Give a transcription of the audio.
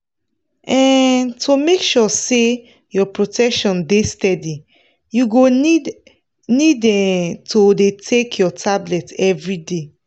um to make sure say your protection dey steady you go need need um to dey take your tablet everyday.